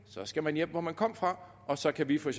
skal man hjem hvor man kom fra og så kan vi for